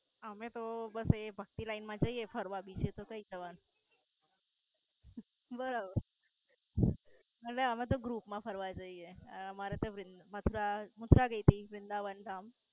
અમે તો બસ. એ ભકતી Line મા જઈએ ફરવા બીજે તો કઈ જવા ના? બસ અલીયા અમે તો ગ્રૂપ મા ફરવા જયે. હા અમારે તો મથુરા દેવી વૃંદાવન ધામ.